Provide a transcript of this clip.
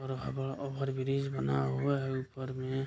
Over over overbridge बना हुआ है ऊपर में।